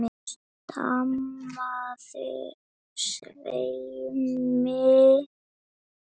stamaði Svenni.